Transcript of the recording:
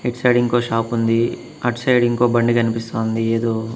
ఇటు సైడ్ ఇంకో షాపు ఉంది అటు సైడ్ ఇంకో బండి కనిపిస్తాంది ఏదో.